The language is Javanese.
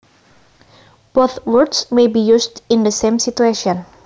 Both words may be used in the same situation